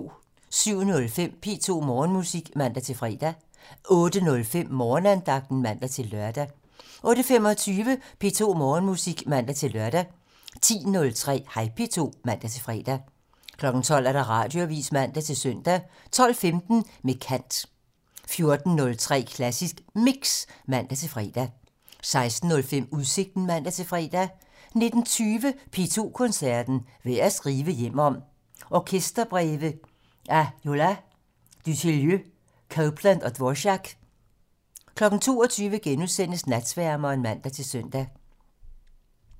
07:05: P2 Morgenmusik (man-fre) 08:05: Morgenandagten (man-lør) 08:25: P2 Morgenmusik (man-lør) 10:03: Hej P2 (man-fre) 12:00: Radioavisen (man-søn) 12:15: Med kant (man) 14:03: Klassisk Mix (man-fre) 16:05: Udsigten (man-fre) 19:20: P2 Koncerten - Værd at skrive hjem om - orkesterbreve af Jolas, Dutilleux, Copland og Dvorak 22:00: Natsværmeren *(man-søn)